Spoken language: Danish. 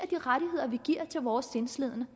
de rettigheder vi giver til vores sindslidende